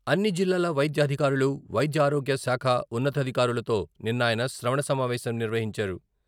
అన్ని జిల్లాల వైద్యాధికారులు, వైద్యారోగ్య శాఖ ఉన్నధికారులతో నిన్న ఆయన శ్రవణ సమావేశం నిర్వహించారు.